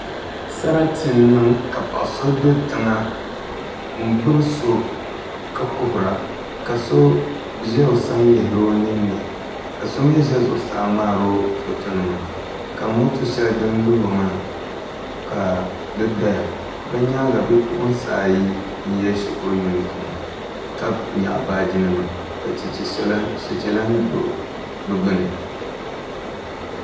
Sarati n niŋ ka paɣa so do tiŋa n gbubi so ka kuhura ka so ʒɛ o sani lihiri o ninni ka so mii ʒɛ zuɣusaa ŋmaaro foto nima ka moto shɛli din luho maa ka di doya bi nyaanga bipuɣunsi ayi n yɛ shikuru yunifom ka nyaɣa baaji nima ka chɛchɛ lahi do bi gbuni